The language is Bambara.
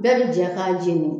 Bɛɛ bi jɛ k'a jeni